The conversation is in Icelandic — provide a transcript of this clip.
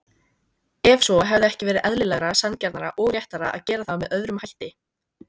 Ef svo, hefði ekki verið eðlilegra, sanngjarnara og réttara að gera það með öðrum hætti?